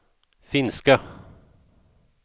finska